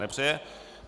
Nepřeje.